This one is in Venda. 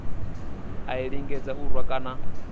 a lingedza u rwa kana